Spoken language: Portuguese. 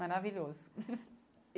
Maravilhoso.